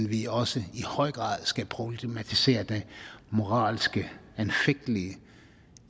vi også i høj grad skal problematisere det moralsk anfægtelige